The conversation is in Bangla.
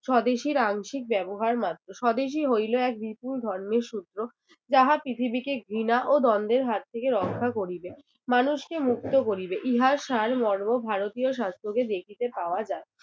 স্বদেশীর আংশিক ব্যবহার মাত্র, স্বদেশী হইলো এক বিপুল ধর্মের সূত্র যাহা পৃথিবীকে ঘৃণা ও দ্বন্দ্বের হাত থেকে রক্ষা করিবে মানুষকে মুক্ত করিবে ইহার সারমর্ম ভারতীয় শাস্ত্রতে দেখিতে পাওয়া যায়।